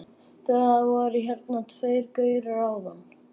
Það voru hérna tveir gaurar áðan.